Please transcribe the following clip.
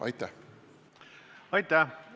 Aitäh!